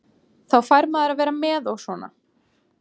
Þá fær maður að vera með og svona.